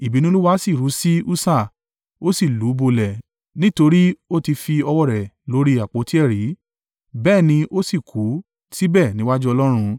Ìbínú Olúwa, sì ru sí Ussa, ó sì lù ú bolẹ̀ nítorí o ti fi ọwọ́ rẹ̀ lórí àpótí ẹ̀rí. Bẹ́ẹ̀ ni ó sì kú síbẹ̀ níwájú Ọlọ́run.